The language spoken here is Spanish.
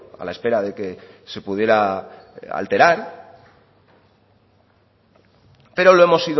a la espera de que se pudiera alterar pero lo hemos